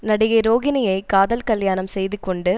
நடிகை ரோகிணியை காதல் கல்யாணம் செய்துகொண்டு